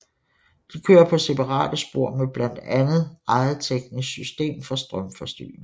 De kører på separate spor med blandt andet eget teknisk system for strømforsyning